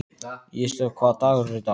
Ísdögg, hvaða dagur er í dag?